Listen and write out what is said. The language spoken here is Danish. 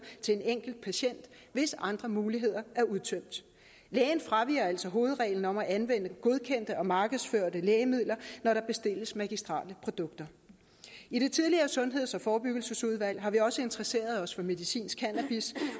til en enkelt patient hvis andre muligheder er udtømt lægen fraviger altså hovedreglen om at anvende de godkendte markedsførte lægemidler når der bestilles magistrelle produkter i det tidligere sundheds og forebyggelsesudvalg har vi også interesseret os for medicinsk cannabis